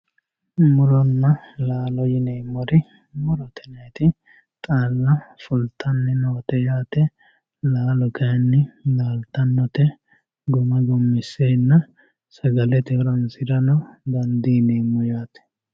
muronna laalo yineemmoti murote yinanniti xaalla fultanni noote yaate laalo kayiinni laaltannote gumma gummisseenna sagalete horonsirano dandiineemmo yaate.